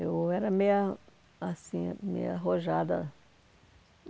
Eu era meia, assim, meia arrojada.